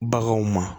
Baganw ma